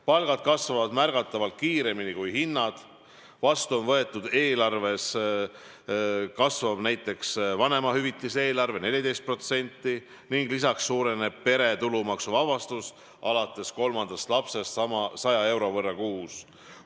Palgad kasvavad märgatavalt kiiremini kui hinnad, riigieelarves kasvab näiteks vanemahüvitise eelarve 14% ning lisaks suureneb pere tulumaksuvabastus alates kolmandast lapsest 100 euro võrra kuus.